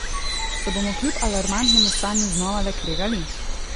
Se bomo kljub alarmantnemu stanju znova le kregali?